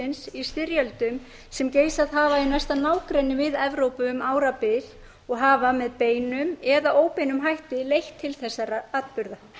í styrjöldum sem geisað hafa í næsta nágrenni við evrópu um árabil og hafa með beinum eða óbeinum hætti leitt til þessara atburða